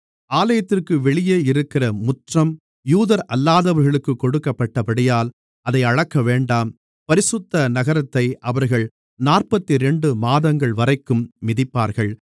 ஆலயத்திற்கு வெளியே இருக்கிற முற்றம் யூதரல்லாதவர்களுக்குக் கொடுக்கப்பட்டபடியால் அதை அளக்கவேண்டாம் பரிசுத்த நகரத்தை அவர்கள் நாற்பத்திரண்டு மாதங்கள்வரைக்கும் மிதிப்பார்கள்